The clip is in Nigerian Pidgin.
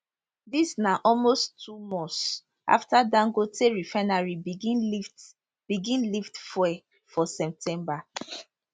dis na almost two months afta dangote refinery begin lift begin lift fuel for september